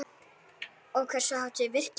Og hversu hátt er virkið?